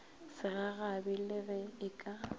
segagabi le ge e ka